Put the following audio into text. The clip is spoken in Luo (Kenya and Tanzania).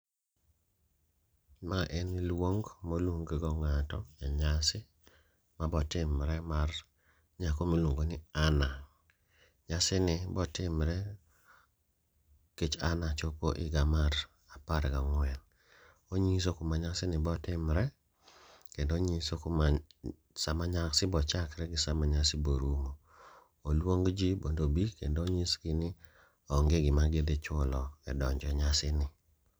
Ma en luong moluong go ng'ato e nyasi mabo timre mar nyako miluongo ni Anna. Nyasi ni botimre kech Anna chopo higa mar apar gang'wen. Onyiso kuma nyasi ni botimre, kendo onyiso kuma sama nyasi bochakre gi sama nyasi borumo. Oluong ji mondo obi kendo onyisgi ni onge gima gidhi chulo e donjo e nyasi ni.